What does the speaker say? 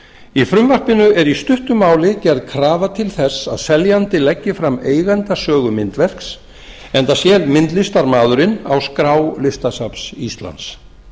í frumvarpinu er í stuttu máli gerð krafa til þess að seljandi leggi fram eigendasögu myndverks enda sé myndlistarmaðurinn á skrá listasafns íslands